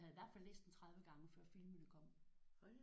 Ja jeg havde i hvert fald læst dem 30 gange før filmene kom